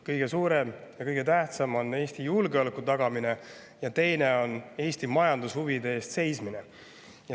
Kõige suurem ja kõige tähtsam on Eesti julgeoleku tagamine ja teine on Eesti majandushuvide eest seismine.